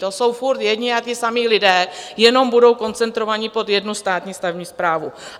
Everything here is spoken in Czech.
To jsou furt jedni a ti samí lidé, jenom budou koncentrovaní pod jednu státní stavební správu.